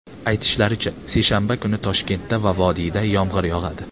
Aytishlaricha, seshanba kuni Toshkentda va vodiyda yomg‘ir yog‘adi .